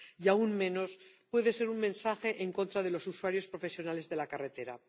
Y aún menos puede ser un mensaje en contra de los usuarios profesionales de la carretera.